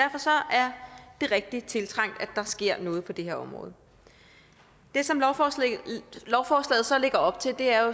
rigtig tiltrængt at der sker noget på det her område det som lovforslaget så lægger op til er